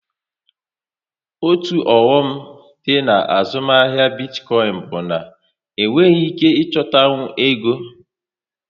Otu oghọm dị na azụmahịa bitcoin bụ na enweghị ike ịchọtanwu ego